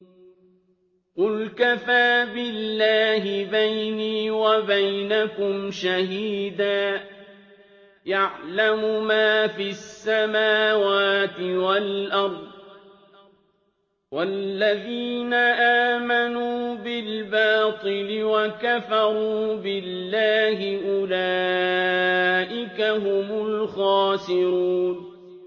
قُلْ كَفَىٰ بِاللَّهِ بَيْنِي وَبَيْنَكُمْ شَهِيدًا ۖ يَعْلَمُ مَا فِي السَّمَاوَاتِ وَالْأَرْضِ ۗ وَالَّذِينَ آمَنُوا بِالْبَاطِلِ وَكَفَرُوا بِاللَّهِ أُولَٰئِكَ هُمُ الْخَاسِرُونَ